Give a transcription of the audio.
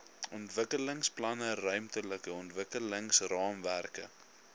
ontwikkelingsplanne ruimtelike ontwikkelingsraamwerke